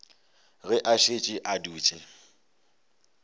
ge a šetše a dutše